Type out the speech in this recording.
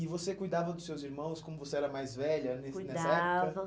E você cuidava dos seus irmãos como você era mais velha nesse nessa época? Cuidava.